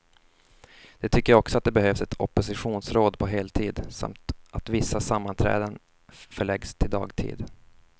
De tycker också att det behövs ett oppositionsråd på heltid, samt att vissa sammanträden förläggs till dagtid.